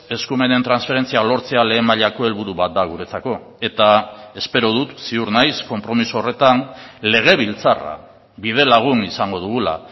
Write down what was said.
eskumenen transferentzia lortzea lehen mailako helburu bat da guretzako eta espero dut ziur naiz konpromiso horretan legebiltzarra bidelagun izango dugula